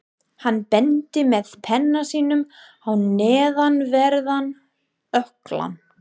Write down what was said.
Hann benti með penna sínum á neðanverðan ökklann.